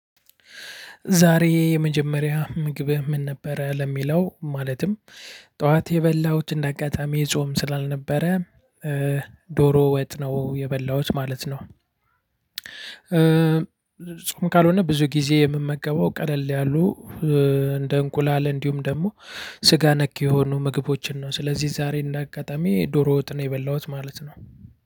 ዛሬ የመጀመሪያ ምግብህ ምን? ነበረ ለሚለው ማለትም ጠዋት የበላሁት እንደ አጋጣሚ ጾም ስላልነበረ ዶሮ ወጥ ነው የበላሁት ማለት ነው። ጾም ካልሆነ ብዙ ጊዜ የምመገበው ቀለል ያሉ እንደ እንቁላል እንዲሁም ደግሞ። ስጋ ነክ የሆኑ ምግቦችን ነው ስለዚህ ዛሬ እንደ አጋጣሚ ዶሮ ወጥ ነው የበላሁት ማለት ነው።